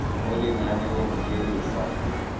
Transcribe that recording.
mo lenaneong le le fa